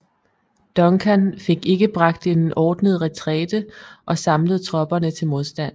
Duncan fik ikke bragt en ordnet retræte og samlet tropperne til modstand